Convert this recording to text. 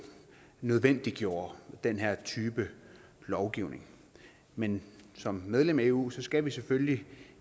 nødvendiggjorde den her type lovgivning men som medlem af eu skal vi selvfølgelig